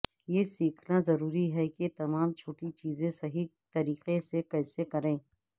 یہ سیکھنا ضروری ہے کہ تمام چھوٹی چیزیں صحیح طریقے سے کیسے کریں